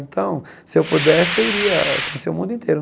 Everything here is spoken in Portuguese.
Então, se eu pudesse, eu iria conhecer o mundo inteiro.